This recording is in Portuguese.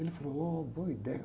Ele falou, ôh, boa ideia.